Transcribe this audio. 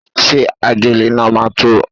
Ṣé ajélẹ̀ náà máa tó?